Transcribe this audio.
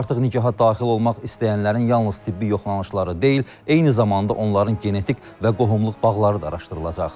Artıq nikaha daxil olmaq istəyənlərin yalnız tibbi yoxlanışları deyil, eyni zamanda onların genetik və qohumluq bağları da araşdırılacaq.